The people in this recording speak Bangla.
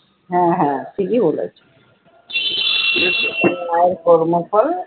হ্যাঁ হ্যাঁ ঠিকই বলেছো, কর্মফল